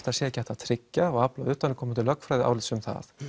það sé ekki hægt að tryggja og utanaðkomandi lögfræðiálits um það